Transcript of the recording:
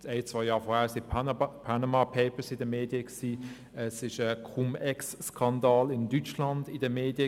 Ein, zwei Jahre zuvor waren die «Panama Papers» in den Medien, in Deutschland war der Cum-Ex-Steuerskandal in den Medien.